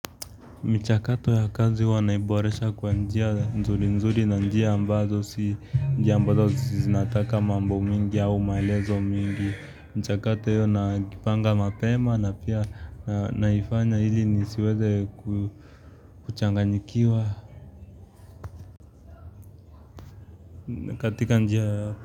Michakato ya kazi wanaiboresha kwa njia nzuri nzuri na njia ambazo si njia ambazo si zinataka mambo mingi au maelezo mingi. Mchakato hiyo najipanga mapema na pia naifanya iili nisiweze kuchanganyikiwa katika njia.